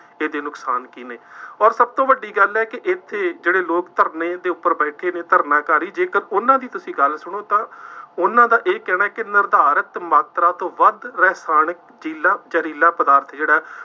ਇਹਦੇ ਨੁਕਸਾਨ ਕੀ ਨੇ, ਅੋਰ ਸਭ ਤੋਂ ਵੱਡੀ ਗੱਲ ਹੈ ਕਿ ਇੱਥੇ ਜਿਹੜੇ ਲੋਕ ਧਰਨੇ ਦੇ ਉੱਪਰ ਬੈਠੇ ਨੇ, ਧਰਨਾਕਾਰੀ ਜੇਕਰ ਉਹਨਾ ਦੀ ਤੁਸੀਂ ਗੱਲ ਸੁਣੋ ਤਾਂ ਉਹਨਾ ਦਾ ਇਹ ਕਹਿਣਾ ਕਿ ਨਿਰਧਾਰਤ ਮਾਤਰਾ ਤੋਂ ਵੱਧ ਰਸਾਇਣਕ ਜ਼ੀਲਾ ਜ਼ਹਿਰੀਲਾ ਪਦਾਰਥ ਜਿਹੜਾ ਹੈ